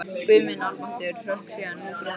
Guð minn almáttugur hrökk síðan út úr honum.